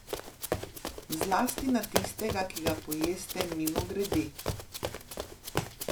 Zlasti na tistega, ki ga pojeste mimogrede.